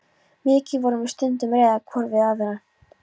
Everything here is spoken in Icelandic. Mikið vorum við stundum reiðar hvor við aðra.